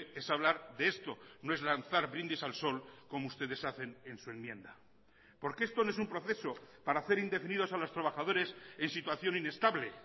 es hablar de esto no es lanzar brindis al sol como ustedes hacen en su enmienda porque esto no es un proceso para hacer indefinidos a los trabajadores en situación inestable